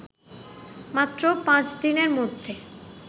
মাত্র পাঁচ দিনের মধ্যে